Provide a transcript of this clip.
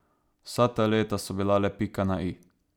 Vsa ta leta so bila le pika na i.